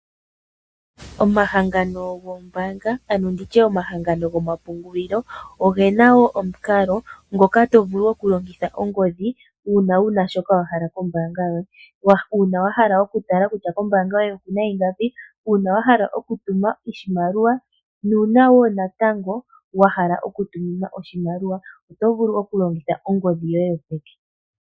Omahangano gombaanga ano nditye omahangano gomapungulilo oge na wo omukalo ngoka tovulu oku longitha ongodhi uuna wuna shoka wahala kombaabga yoye, uuna wahala oku tala kutya kombaanga yoye okuna ingapi, uuna wahala oku tuma oshimaliwa nuuna wo natango wahala oku tuminwa oshimaliwa oto vulu oku longitha ongodhi yoye yo peke.